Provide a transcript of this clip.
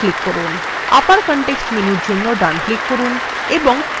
আবার context menu জন্য ডান click করুন এবং paste click করুন